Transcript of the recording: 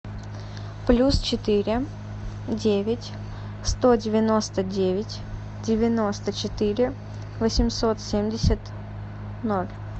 плюс четыре девять сто девяносто девять девяносто четыре восемьсот семьдесят ноль